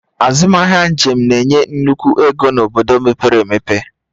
Azụmahịa njem na-enye nnukwu ego n'obodo mepere emepe